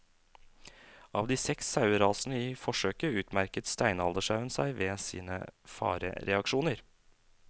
Av de seks sauerasene i forsøket utmerket steinaldersauen seg ved sine farereaksjoner.